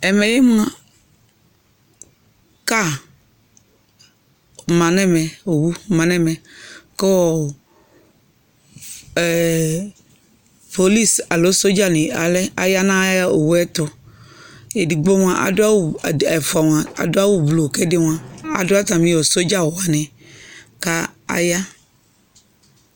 Ɛmɛ mʋa car ma n'ɛmɛ, owu ma n'ɛnɛ mɛ kʋʋ ɛɛ police alo sodzanɩ, alɛ aya nʋ owu yɛ tʋ Edigbo mʋa adʋ awʋ ed, ɛfua mʋa adʋ awʋ blu k'ɛdɩ mʋa adʋ atamɩ sodzan awʋ wanɩ k'sya